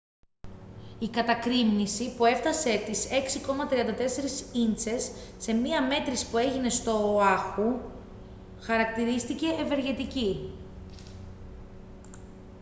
η κατακρήμνιση που έφτασε τις 6,34 ίντσες σε μια μέτρηση που έγινε στο οάχου χαρακτηρίστηκε «ευεργετική»